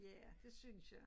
Ja det synes jeg